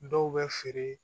Dɔw bɛ feere